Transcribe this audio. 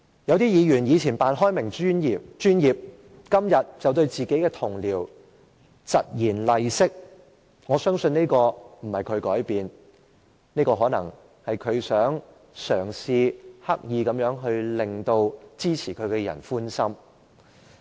有些議員在過去扮開明、扮專業，但今天卻對自己的同事疾言厲色，我相信並不是他改變了，這可能是他嘗試刻意地要討支持他的人的歡心。